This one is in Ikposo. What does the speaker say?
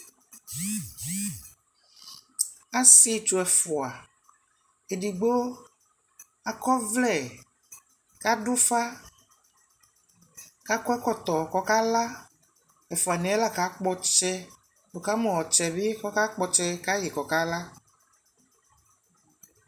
asiitsɔ ɛƒʋa, ɛdigbɔ akɔ ɔvlɛ kʋ adʋ ʋƒa kʋ akɔ ɛkɔtɔ kʋ ɔka la, ɛƒʋa niɛ la ka kpɔ ɔtsɛ, wʋkamʋ ɔtsɛ bi kʋɔka kpɔ ɔtsɛ kayi kʋ ɔkala